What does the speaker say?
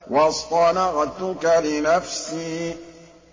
وَاصْطَنَعْتُكَ لِنَفْسِي